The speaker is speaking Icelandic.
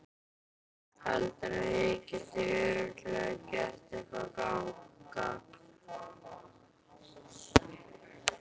Heldurðu að ég geti örugglega gert eitthvert gagn?